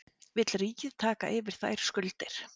Vill ríkið taka yfir þær skuldir?